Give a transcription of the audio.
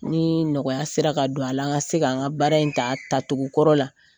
Ni nɔgɔya sera ka don a la, an ka se kan ka baara in ta tatogo kɔrɔ la